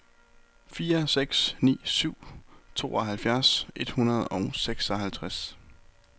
fire seks ni syv tooghalvtreds et hundrede og seksoghalvtreds